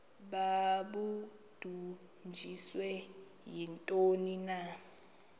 babudunjiswe yintoni na